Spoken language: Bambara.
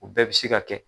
U bɛɛ bɛ se ka kɛ